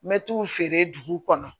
N bɛ t'u feere dugu kɔnɔ